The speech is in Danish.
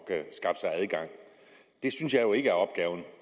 af at skaffe sig adgang det synes jeg jo ikke